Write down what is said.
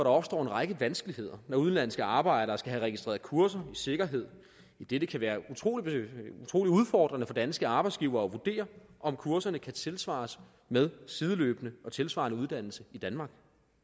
opstår en række vanskeligheder når udenlandske arbejdere skal have registreret kurser i sikkerhed idet det kan være utrolig udfordrende for danske arbejdsgivere at vurdere om kurserne kan tilsvares med sideløbende og tilsvarende uddannelse i danmark